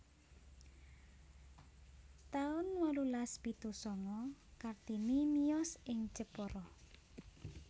taun wolulas pitu sanga Kartini miyos ing Jepara